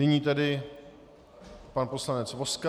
Nyní tedy pan poslanec Vozka.